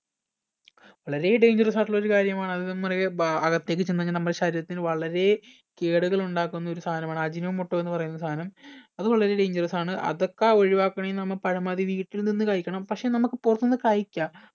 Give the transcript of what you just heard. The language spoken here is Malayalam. വളരെ dangerous ആയിട്ടുള്ള ഒരു കാര്യമാണ് അത് നമ്മുടെ ബ അകത്തേക്ക് ചെന്ന് കഴിഞ്ഞാൽ നമ്മടെ ശരീരത്തിന് വളരെ കേടുകൾ ഉണ്ടാക്കുന്ന ഒരു സാനമാണ് ajinomoto എന്ന് പറയുന്ന സാനം അത് വളരെ dangerous ആണ് അതൊക്കെ ഒഴിവാക്കണേ നമ്മ പരമാവധി വീട്ടിൽ നിന്ന് കഴിക്കണം പക്ഷെ നമ്മക്ക് പൊറത്ത് നിന്ന് കഴിക്ക